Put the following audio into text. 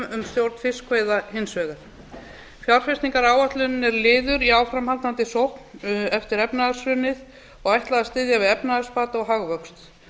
um stjórn fiskveiða hins vegar fjárfestingaráætlunin er liður í áframhaldandi sókn eftir efnahagshrunið og ætlað að styðja við efnahagsbata og hagvöxt